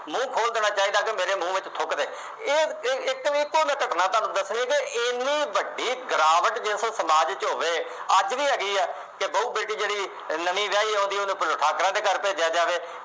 ਮੂੰਹ ਖੋਲ੍ਹ ਦੇਣਾ ਚਾਹੀਦਾ ਕਿ ਮੇਰੇ ਮੂੰਹ ਵਿੱਚ ਥੁੱਕ ਦੇ। ਇਹ ਇੱਕ ਘਟਨਾ ਤੁਹਾਨੂੰ ਦੱਸਣੀ ਅਤੇ ਐਨੀ ਵੱਡੀ ਗਿਰਾਵਟ ਜੇ ਕੋਈ ਸਮਾਜ ਚ ਹੋਵੇ, ਅੱਜ ਵੀ ਹੈਗੀ ਹੈ, ਕਿ ਬਹੁ ਬੇਟੀ ਜਿਹੜੀ ਨਵੀਂ ਵਿਆਹੀ ਆਉਂਦੀ ਹੈ, ਉਹਨੂੰ ਪਹਿਲਾਂ ਠਾਕਰਾਂ ਦੇ ਘਰ ਭੇਜਿਆ ਜਾਵੇ।